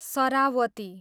Saravati